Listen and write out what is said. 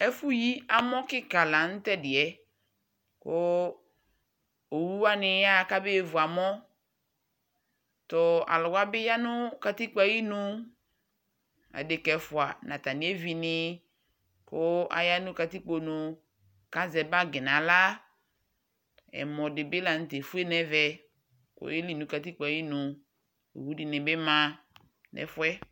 Ɛfʋ yi amɔ kɩks la nʋ t'ɛdɩ yɛ, kʋ owuwanɩ yaɣa kamevu amɔ Tʋ aluʋwanɩ bɩ ya nʋ katikpo yɛ ayinu, adeka ɛfua n'atami evini kʋ aya nʋ katikpo nu kazɛ bagi ŋ'aɣla, ɛmɔdɩ bɩ la n'tɛ efue n'ɛvɛ k'oyeli nʋ katikpo yɛ ayinu Owu dɩnɩ bɩ ma n'ɛfu yɛ